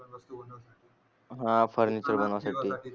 हा फर्निचर बनवासाठी